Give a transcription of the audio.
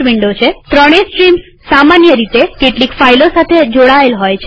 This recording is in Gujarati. આપણે જોયું કે સામાન્ય રીતે ત્રણે સ્ટ્રીમ્સ સામાન્ય રીતે કેટલીક ફાઈલો સાથે જોડાએલ હોય છે